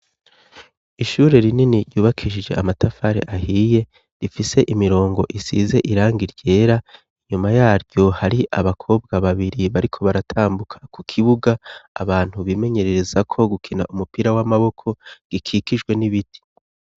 Ishure rinini ryubakishije amatafari ahiye rifise imirongo isize irangi ryera inyuma yaryo hari abakobwa babiri bariko baratambuka ku kibuga abantu bimenyerereza ko gukina umupira w'amaboko gikikijwe n'ibiti.